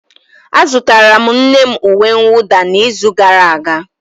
Azụtara m nne m uwe mwụda n'izu gara aga.